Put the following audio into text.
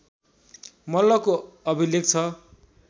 मल्लको अभिलेख छ